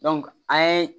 an ye